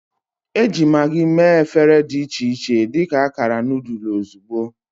Eji Maggi mee efere dị iche iche dị ka akara noodle ozugbo.